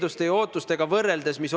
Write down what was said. Suur tänu, austatud juhataja!